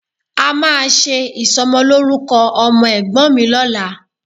A máa ṣe ìsọmọlórúkọ ọmọ Ẹ̀gbọ́n mi lọ́la